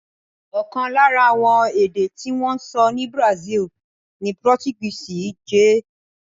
Ọ̀kan lára àwọn èdè tí wọ́n ń sọ ní Brazil ni Portuguese jẹ́.